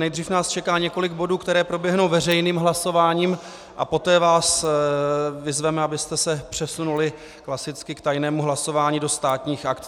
Nejdřív nás čeká několik bodů, které proběhnou veřejným hlasováním, a poté vás vyzveme, abyste se přesunuli klasicky k tajnému hlasování do Státních aktů.